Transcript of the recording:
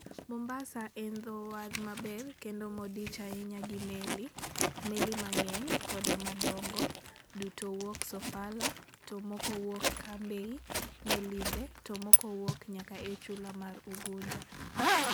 "Mombasa en dho wath maber kendo modich ahinya gi meli, meli mang'eny koda ma dongo, duto wuok Sofala to moko wuok Cambay, Melinde, to moko wuok nyaka e chula mar Unguja".